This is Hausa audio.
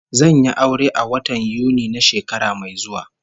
Zan yi aure a watan Yuni na shekara mai zuwa